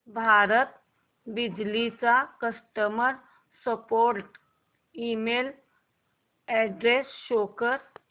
भारत बिजली चा customer support email address show कर